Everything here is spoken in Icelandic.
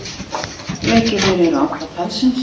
Leikirnir eru átta talsins.